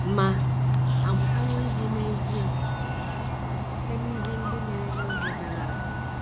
Ma à mụtawo ihe n’ezie site n’ihe ndị mere n’oge gara aga?